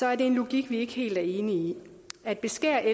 er en logik vi ikke helt er enige i at beskære de